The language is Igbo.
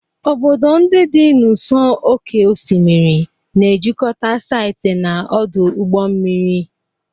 Obodo ndị dị n'ụsọ oké osimiri na-ejikọta site na ọdụ ụgbọ mmiri.